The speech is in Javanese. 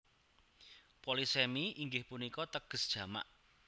Polisemi inggih punika teges jamak